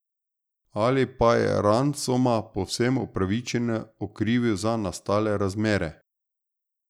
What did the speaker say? Ali pa je Ransoma povsem upravičeno okrivil za nastale razmere?